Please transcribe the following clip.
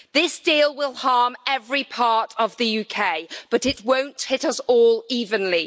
This deal will harm every part of the UK, but it won't hit us all evenly.